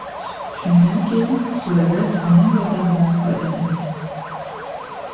Shundan keyin surrogat ona yordamidan foydalangan.